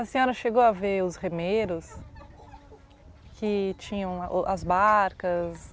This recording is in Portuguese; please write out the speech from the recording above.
A senhora chegou a ver os remeiros, que tinham a o as barcas?